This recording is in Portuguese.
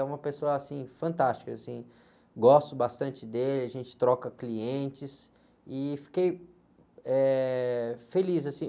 É uma pessoa, assim, fantástica, assim, gosto bastante dele, a gente troca clientes e fiquei, eh, feliz.